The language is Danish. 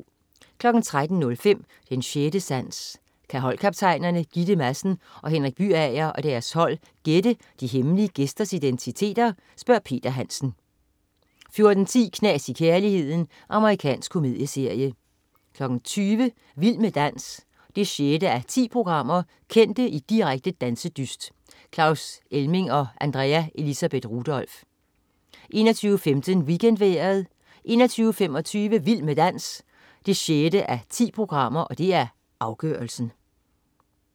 13.05 Den 6. Sans. Kan holdkaptajnerne Gitte Madsen og Henrik Byager og deres hold gætte de hemmelige gæsters identiteter? Peter Hansen 14.10 Knas i kærligheden. Amerikansk komedieserie 20.00 Vild med dans 6:10. Kendte i direkte dansedyst. Claus Elming og Andrea Elisabeth Rudolph 21.15 WeekendVejret 21.25 Vild med dans 6:10. Afgørelsen